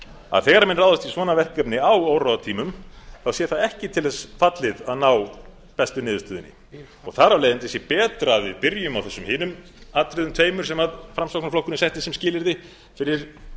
nálgun þegar menn ráðast í svona verkefni á óróatímum sé það ekki til þess fallið að ná bestu niðurstöðunni þar af leiðandi sé betra að við byrjum á þessum hinum atriðum tveimur sem framsóknarflokkurinn setti sem skilyrði fyrir